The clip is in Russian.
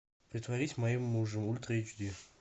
притворись моим мужем ультра эйч ди